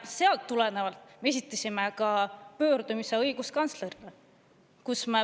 Sellest tulenevalt esitasime pöördumise ka õiguskantslerile.